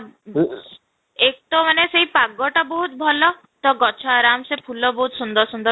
ଏକ ତ ମାନେ ସେଇ ପାଗଟା ବହୁତ ଭଲ ତ ଗଛ ଆରାମ ସେ ଫୁଲ ବହୁତ ସୁନ୍ଦର ସୁନ୍ଦର